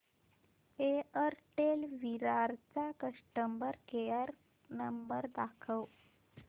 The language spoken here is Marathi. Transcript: एअरटेल विरार चा कस्टमर केअर नंबर दाखव